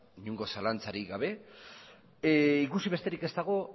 inongo zalantzarik gabe ikusi besterik ez dago